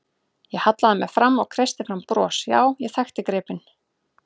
Ég hallaði mér fram og kreisti fram bros, já, ég þekkti gripinn.